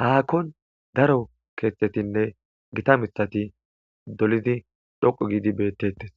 haakkon daro keeththetinne gita mithati dolidi dhoqu giidi beettettes